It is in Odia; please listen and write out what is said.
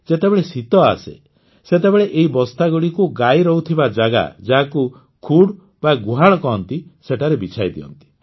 ଯେତେବେଳେ ଶୀତ ଆସେ ସେତେବେଳେ ଏହି ବସ୍ତାଗୁଡ଼ିକୁ ଗାଈ ରହୁଥିବା ଜାଗା ଯାହାକୁ ଖୁଡ୍ ବା ଗୁହାଳ କହନ୍ତି ସେଠାରେ ବିଛାଇଦିଅନ୍ତି